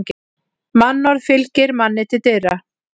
Mannorð fylgir manni til dyra.